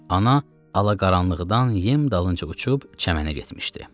Ana alaqaranlıqdan yem dalınca uçub çəmənə getmişdi.